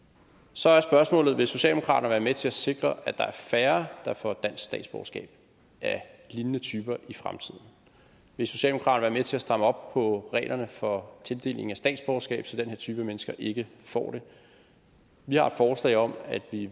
så er spørgsmålet vil socialdemokraterne være med til at sikre at der er færre der får dansk statsborgerskab af lignende typer i fremtiden vil socialdemokraterne være med til at stramme op på reglerne for tildeling af statsborgerskab så den her type mennesker ikke får det vi har et forslag om at vi